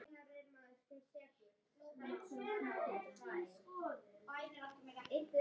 Síðan hefur verið aukið við það eftir gosbeltunum og í kringum Vatnajökul.